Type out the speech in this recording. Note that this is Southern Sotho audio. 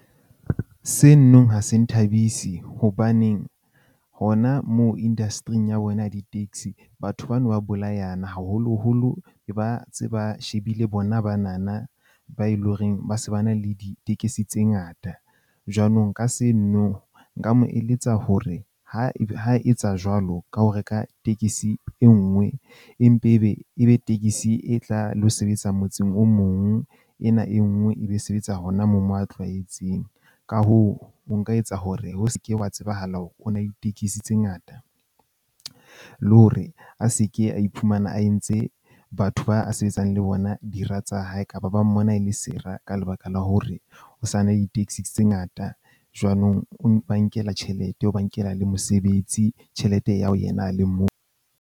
Senong ha se nthabise hobaneng hona moo industry-ng ya rona ya di-taxi batho bano ba bolayana haholoholo e ba ntse ba shebile bona bana na ba e loreng ba se ba na le ditekesi tse ngata. Jwanong nka se no nka mo eletsa hore ha etsa jwalo ka ho reka tekesi e nngwe, e mpe ebe ebe tekesi e tla lo sebetsa motseng o mong. Ena e nngwe, e be sebetsa hona mo mo a tlwaetseng. Ka hoo, o nka etsa hore ho ske wa tsebahala hore o na le ditekesi tse ngata le hore a seke a iphumana a entse batho ba sebetsang le bona dira tsa hae kapa ba mmona e le sera ka lebaka la hore o sa na di-taxi tse ngata. Jwanong o ba nkela tjhelete o ba nkela le mosebetsi tjhelete e ya ho yena a le mong.